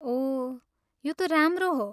ओह, यो त राम्रो हो!